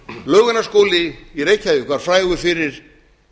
laugarnesskóli í reykjavík var frægur fyrir